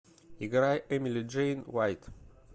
играй эмили джейн вайт